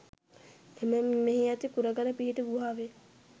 එමෙන්ම මෙහි ඇති කුරගල පිහිටි ගුහාවෙන්